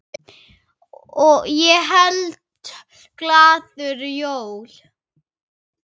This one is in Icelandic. Ég held glaður jól.